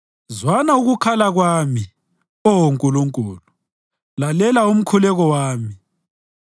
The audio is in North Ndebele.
Zwana ukukhala kwami, Oh Nkulunkulu; lalela umkhuleko wami.